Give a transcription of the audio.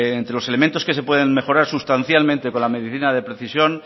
entre los elementos qu ese pueden mejorar sustancialmente con la medicina de precisión